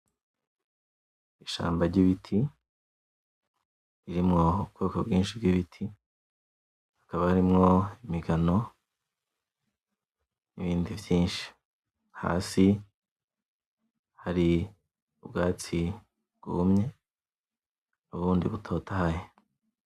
Ishamba ryibiti, irimwo ubwoko bwinshi bw’ibiti. Hakaba harimwo imigano nibindi vyinshi. Hasi hari ubwatsi bwumye, nubundi butotaye.